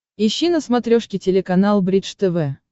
ищи на смотрешке телеканал бридж тв